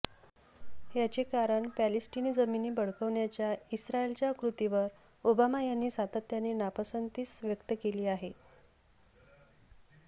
याचे कारण पॅलेस्टिनी जमिनी बळकावण्याच्या इस्रायलच्या कृतीवर ओबामा यांनी सातत्याने नापसंतीच व्यक्त केली आहे